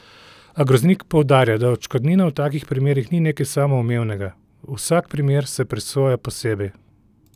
A Groznik poudarja, da odškodnina v takih primerih ni nekaj samoumevnega: "Vsak primer se presoja posebej.